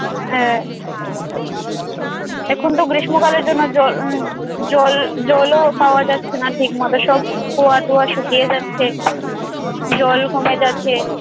এর এখনতো গ্রীষ্মকালের জন্যে জ~ জল~ জলও পাওয়া যাচ্ছে না ঠিকমত। সব কুয়াটুয়া শুকিয়ে যাচ্ছে, জল কমে যাচ্ছে,